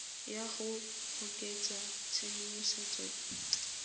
ya go oketsa tshedimosetso e